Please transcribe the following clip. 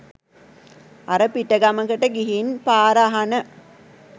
අර පිටගමකට ගිහින් පාර අහන